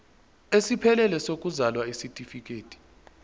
esiphelele sokuzalwa isitifikedi